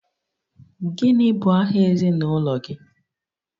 Gịnị bụ aha ezinụlọ gị?